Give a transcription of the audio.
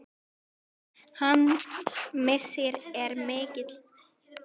Hans missir er mikill.